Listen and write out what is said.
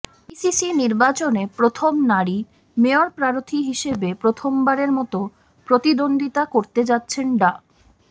BCC নির্বাচনে প্রথম নারী মেয়র প্রার্থী হিসেবে প্রথমবারের মতো প্রতিদ্বন্দ্বিতা করতে যাচ্ছেন ডা